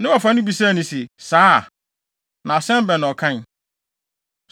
Ne wɔfa no bisae se, “Saa? Na asɛm bɛn na ɔkae?”